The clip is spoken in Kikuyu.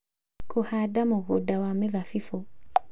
Kũhaanda mũgũnda wa mĩthabibũ